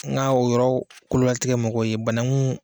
N ga o yɔrɔ kololatigɛ mɔgɔw ye banangun